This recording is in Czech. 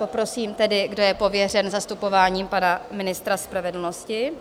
Poprosím tedy, kdo je pověřen zastupováním pana ministra spravedlnosti?